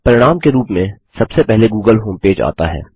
परिणाम के रूप में सबसे पहले गूगल होमपेज आता है